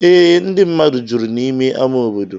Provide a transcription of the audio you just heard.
Ee, ndị mmadụ juru n’ime ama obodo.